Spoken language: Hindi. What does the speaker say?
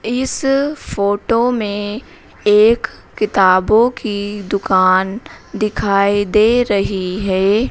इस फोटो में एक किताबों की दुकान दिखाई दे रही है।